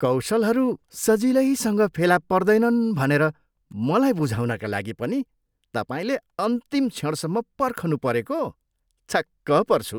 कौशलहरू सजिलैसँग फेला पर्दैनन् भनेर मलाई बुझाउनका लागि पनि तपाईँले अन्तिम क्षणसम्म पर्खनुपरेको? छक्क पर्छु।